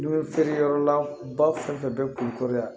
N'i bɛ feere yɔrɔ la ba fɛn fɛn bɛ kun kɔrɔ yan